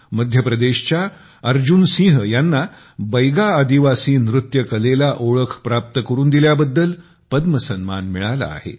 मध्य प्रदेशच्या अर्जुन सिंह यांना बैगा आदिवासी नृत्य कलेला ओळख प्राप्त करून दिल्याबद्दल पद्म सन्मान मिळाला आहे